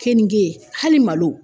Keninge hali malo